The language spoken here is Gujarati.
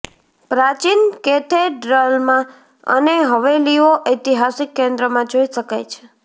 પ્રાચીન કેથેડ્રલમાં અને હવેલીઓ ઐતિહાસિક કેન્દ્રમાં જોઇ શકાય છે